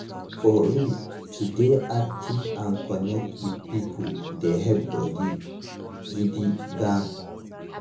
for real to dey active and connect with people dey help body gidi gan.